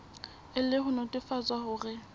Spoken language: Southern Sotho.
e le ho nnetefatsa hore